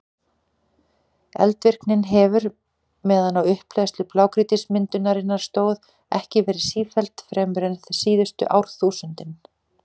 Eldvirknin hefur, meðan á upphleðslu blágrýtismyndunarinnar stóð, ekki verið sífelld fremur en síðustu árþúsundin.